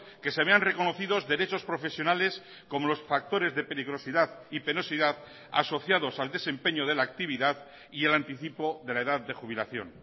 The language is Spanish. que se vean reconocidos derechos profesionales como los factores de peligrosidad y penosidad asociados al desempeño de la actividad y el anticipo de la edad de jubilación